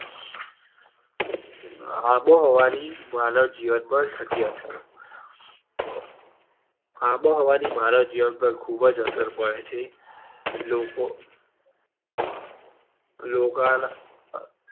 આબોહવા ની માનવ જીવન પર થતી અસર તો આબોહવા ની માનવ જીવન પર ખૂબ જ અસર પડે છે. લોકો લોક ના